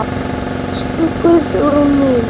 Elsku Guðrún mín.